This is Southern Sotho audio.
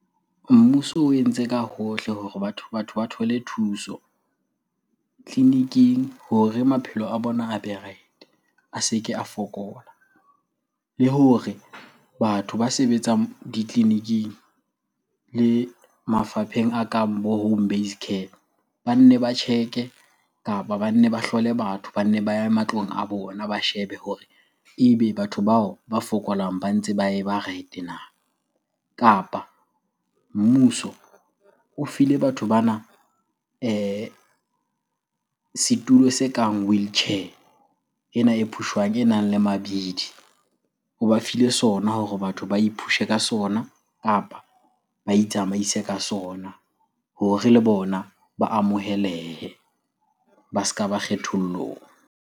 Mmuso o entse ka hohle hore batho ba thole thuso tleliniking hore maphelo a bona a be right-e, a se ke a fokola. Le hore batho ba sebetsang ditleliniking le mafapheng a kang bo home based care, ba nne ba check-e kapa ba nne ba hlole batho, ba nne ba ye matlong a bona ba shebe hore ebe batho bao ba fokolang ba ntse ba eba right na? Kapa mmuso o file batho bana setulo se kang wheelchair, ena e phushwang e nang le mabidi. O ba file sona hore batho ba ipushe ka sona kapa ba itsamaise ka sona hore le bona ba amohelehe, ba ska ba kgethollong.